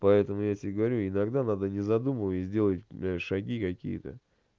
поэтому я тебе говорю иногда надо не задумываясь сделать блядь шаги какие-то